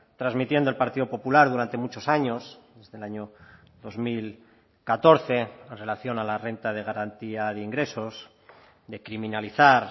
transmitiendo el partido popular durante muchos años desde el año dos mil catorce en relación a la renta de garantía de ingresos de criminalizar